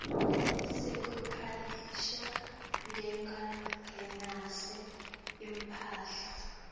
sekubhaliswa njengalongenisa imphahla